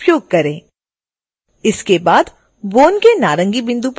इसके बाद bone के नारंगी बिंदु पर राइटक्लिक करें